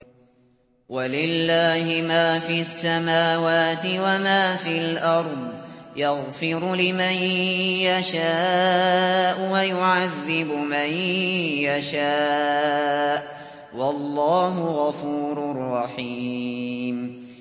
وَلِلَّهِ مَا فِي السَّمَاوَاتِ وَمَا فِي الْأَرْضِ ۚ يَغْفِرُ لِمَن يَشَاءُ وَيُعَذِّبُ مَن يَشَاءُ ۚ وَاللَّهُ غَفُورٌ رَّحِيمٌ